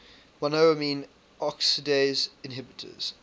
monoamine oxidase inhibitors